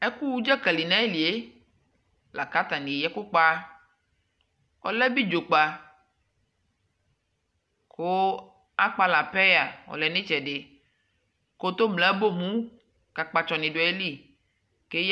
Ɛkuwu ɖʒakali nayilie lakatani eyaa ɛkukpa ɔlɛ abiɖʒokpa kuu akpala peyaa ɔlɛɛ nitsɛdɛ kolomle abomu kakpatsɔni duayili keya